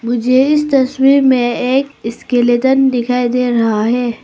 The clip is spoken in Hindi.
मुझे इस तस्वीर में एक स्केलेटन दिखाई दे रहा है।